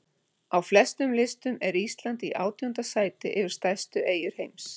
Á flestum listum er Ísland í átjánda sæti yfir stærstu eyjur heims.